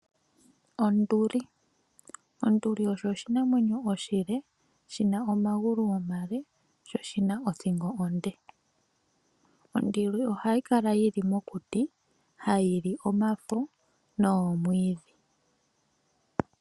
Ondu osho oshinamwenyo oshile shi na omagulu omale, sho oshi na othingo onde. Onduli ohayi kala yi li mokuti ha yi li omafa nomwiidhi.